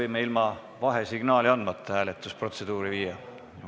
Kas me võime ilma vahesignaali andmata hääletusprotseduuri läbi viia?